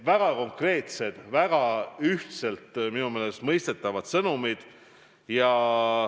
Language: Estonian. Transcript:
Väga konkreetsed ja minu meelest väga ühtselt mõistetavad sõnumid.